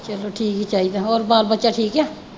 ਚਲੋ ਠੀਕ ਈ ਚਾਹੀਦਾ। ਹੋਰ ਬਾਲ ਬੱਚਾ ਠੀਕ ਆ।